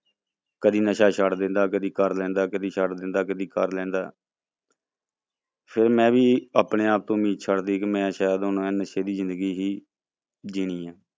ਕਦੇ ਨਸ਼ਾ ਛੱਡ ਦਿੰਦਾ ਕਦੇ ਕਰ ਲੈਂਦਾ, ਕਦੇ ਛੱਡ ਦਿੰਦਾ ਕਦੇ ਕਰ ਲੈਂਦਾ ਫਿਰ ਮੈਂ ਵੀ ਆਪਣੇ ਆਪ ਤੋਂ ਉਮੀਦ ਛੱਡ ਦਿੱਤੀ ਕਿ ਮੈਂ ਸ਼ਾਇਦ ਹੁਣ ਇਹ ਨਸ਼ੇ ਦੀ ਜ਼ਿੰਦਗੀ ਹੀ ਜਿਉਣੀ ਹੈ।